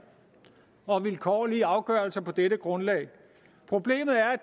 og vilkårlige afgørelser på dette grundlag problemet er